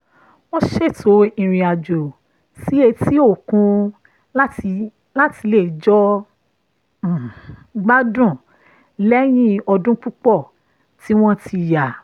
wọ́n ṣètò ìrìn àjò sí etí-òkun láti lè jọ um gbádùn lẹ́yìn ọdún púpọ̀ tí wọ́n ti yà